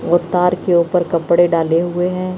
और तार के ऊपर कपड़े डाले हुए हैं।